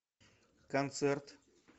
концерт